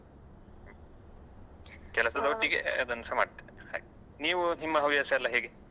ಹ್ಮ್ ಅದನ್ನು ಸಹ ಮಾಡ್ತೇನೆ ಹಾಗೆ ನೀವು ನಿಮ್ಮ ಹವ್ಯಾಸ ಎಲ್ಲಾ ಹೇಗೆ?